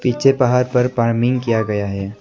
पीछे पहाड़ पर फार्मिंग किया गया है।